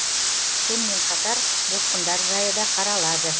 сонымен қатар босқындар жайы да қаралады